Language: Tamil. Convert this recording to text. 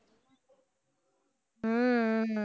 ஹம் ஹம்